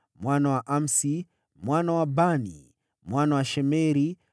mwana wa Amsi, mwana wa Bani, mwana wa Shemeri,